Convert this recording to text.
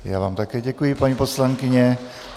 Já vám také děkuji, paní poslankyně.